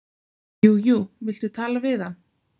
"""Jú jú, viltu tala við hann?"""